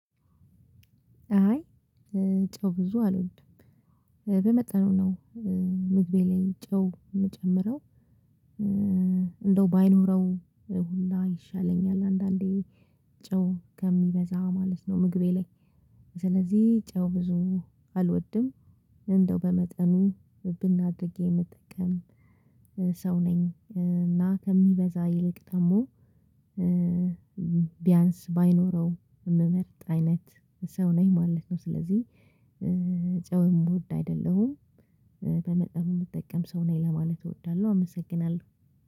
አይ ጨው ብዙ አልወድም በመጠኑ ነው ምግቤ ላይ ጨው የምጨምረው። እንደው ባይኖረው ሁላ ይሻለኛል አንዳንዴ ጨው ከሚበዛ ማለት ነው። ምግቤ ላይ ስለዚህ ጨው ብዙ አልወድም። እንደው በመጠኑ ብን አድርጊ የምጠቀም ሰው ነኝ። እና ከሚበዛ ይልቅ ደግሞ ቢያንስ ባይኖረው የምመርጥ አይነት ሰው ነኝ ማለት ነው። ስለዚህ ጨው የምወድ አይደለሁም። በመጠኑ የምጠቀም ሰው ነኝ ለማለት እወዳለሁ አመሰግናለሁ።